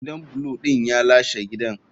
Gidan blue din ya lashe gidan.